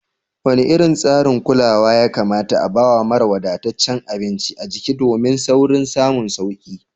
Wane irin tsarin kulawa ya kamata a bawa mara wadataccen abinci a jiki domin saurin samun sauki?